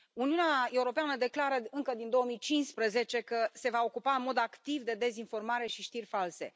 Uniunea Europeană declară încă din 2015 că se va ocupa în mod activ de dezinformare și știri false.